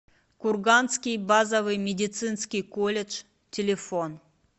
курганский базовый медицинский колледж телефон